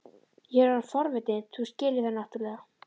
Ég er orðinn forvitinn, þú skilur það náttúrlega.